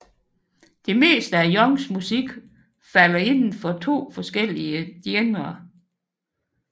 Det meste af Youngs musik falder inden for to forskellige genrer